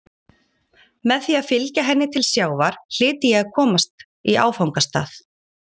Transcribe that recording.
Með því að fylgja henni til sjávar hlyti ég að komast í áfangastað.